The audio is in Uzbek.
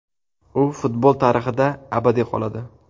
U futbol tarixida abadiy qoladi.